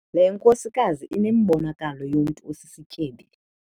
Le nkosikazi inembonakalo yomntu osisityebi.